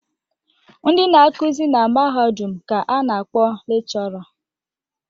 Ndị na-akụzi na mahadum ka a na-akpọ lekshọra.